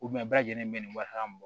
bɛɛ lajɛlen bɛ nin wari min bɔ